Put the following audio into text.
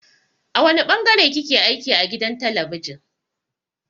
A wane ɓangare kike aiki a gidan talabijin.